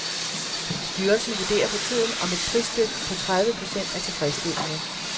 Styrelsen vurderer for tiden, om et prisdyk på tredive procent er tilfredsstillende.